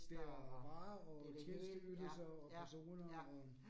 Det er meget, og tjenesteydelser og personer og